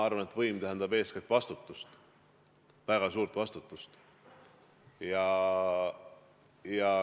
Ma arvan, et võim tähendab eeskätt vastutust, väga suurt vastutust.